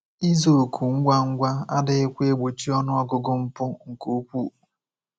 Ịza òkù ngwa ngwa adịghịkwa egbochi ọnụ ọgụgụ mpụ nke ukwuu.